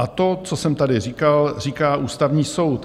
A to, co jsem tady říkal, říká Ústavní soud.